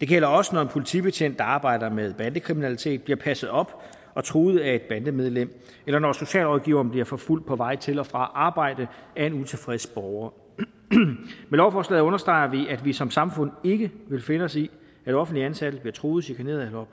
det gælder også når en politibetjent der arbejder med bandekriminalitet bliver passet op og truet af et bandemedlem eller når socialrådgiveren bliver forfulgt på vej til og fra arbejde af en utilfreds borger med lovforslaget understreger vi at vi som samfund ikke vil finde os i at offentligt ansatte bliver truet chikaneret eller